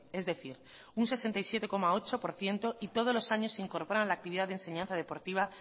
es decir un sesenta y siete coma ocho por ciento y todos los años se incorporan en la actividad de enseñanza deportiva